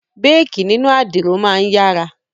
Béèkí nínú àdìro máa ń yára